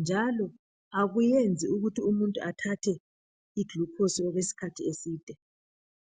njalo akuyenzi ukuthi umuntu athathe iglucose okwesikhathi eside.